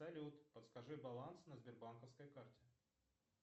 салют подскажи баланс на сбербанковской карте